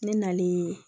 Ne nalen